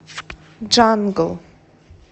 джангл